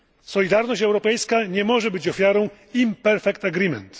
Solidarność europejska nie może być ofiarą imperfect agreement